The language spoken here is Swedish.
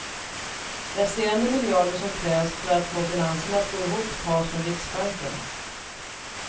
Resterande miljarder som krävs för att få finanserna att gå ihop tas från riksbanken.